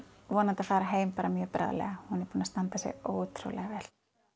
vonandi að fara heim bara mjög bráðlega hún er búin að standa sig ótrúlega vel